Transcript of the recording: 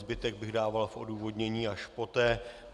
Zbytek bych dával v odůvodnění až poté.